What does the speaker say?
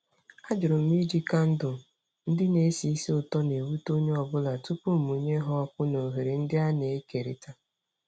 Ajụrụ m ma iji kandụl ndị na-esi ísì ụtọ na-ewute onye ọ bụla tupu mụnye ha ọkụ na oghere ndị a na-ekerịta.